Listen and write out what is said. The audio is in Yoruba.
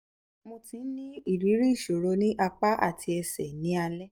mo ti ń ní ìrírí ìṣòro ní apá àti ẹsẹ̀ ní alẹ́